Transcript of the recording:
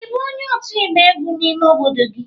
Ị bụ onye otu igba egwu n'ime obodo gị?